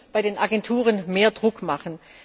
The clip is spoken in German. Wir müssen bei den Agenturen mehr Druck machen.